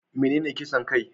Menene kisan kai?